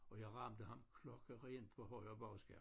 Og jeg ramte ham klokkerent på højre bagskærm